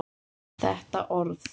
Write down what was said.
Þetta orð.